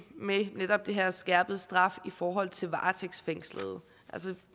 med netop den her skærpede straf i forhold til varetægtsfængslede jeg